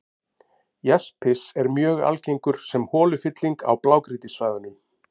Jaspis er mjög algengur sem holufylling á blágrýtissvæðunum.